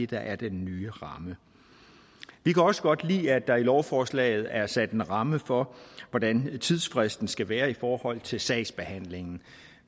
der er den nye ramme vi kan også godt lide at der i lovforslaget er sat en ramme for hvordan tidsfristen skal være i forhold til sagsbehandlingen